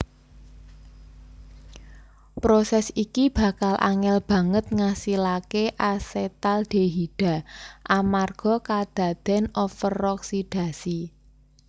Prosès iki bakal angèl banget ngasilaké asetaldehida amarga kadadèn overoksidasi